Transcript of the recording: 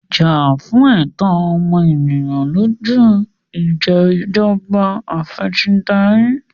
Jà fún ẹ̀tọ́ ọmọ ènìyàn lójú Ìṣèjọba Af'ẹ̀sìndarí!